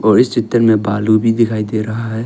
और इस चित्र में भालू भी दिखाई दे रहा है।